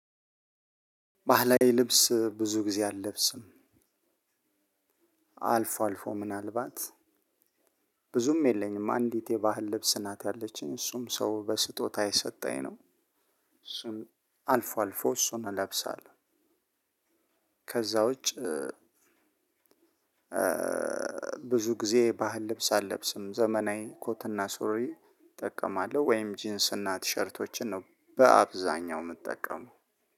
ባህላዊ ልብስ ብዙ ጊዜ አልለብስም። አልፎ አልፎ ምናልባት ብዙም የለኝም። አንዲት የባህል ልብስ ናት ያለችኝ፤ እሱም ሰው በስጦታ የሰጠኝ ነው። እሱን አልፎ አልፎ እሱን እለብሳለሁ። ከዛ ውጭ ብዙ ጊዜ ባህል ልብስ አልለብስም። ዘመናዊ ኮትና ሱሪ እጠቀማለሁ ወይም ጅንስና ቲሸርቶችን ነው በአብዛኛው የምጠቀመው።